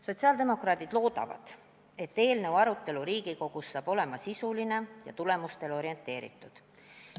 Sotsiaaldemokraadid loodavad, et eelnõu arutelu Riigikogus on sisuline ja tulemustele orienteeritud.